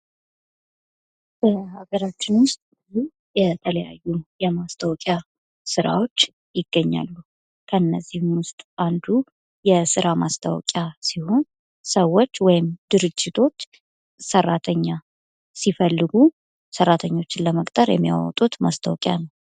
በሀገራች ውስጥ የተለያዩ የማስታወቂያ ስራዎች ይገኛሉ። ከነዚህም ውስጥ አንዱ የስራ ማስታወቂያ ሲሆን ሰዎች ወይም ድርጅቶች ሰራተኛ ሲፈልጉ ሰራተኞችን ለመቁጠር የሚያወጡት ማስታወቂያ ነው።